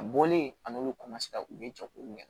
A bɔlen a n'olu u bɛ jɛ k'olu kɛ